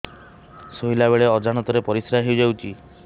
ଶୋଇଲା ବେଳେ ଅଜାଣତ ରେ ପରିସ୍ରା ହେଇଯାଉଛି